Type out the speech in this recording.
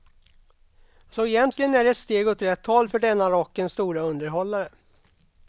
Så egentligen är det ett steg åt rätt håll för denne rockens store underhållare.